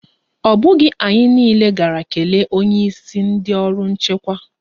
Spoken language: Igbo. Ọ bụghị anyị niile gara kelee onyeisi ndị ọrụ nchekwa.